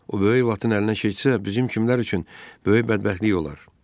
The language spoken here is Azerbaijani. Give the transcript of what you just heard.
O böyük Batın əlinə keçsə, bizim kimlər üçün böyük bədbəxtlik olar.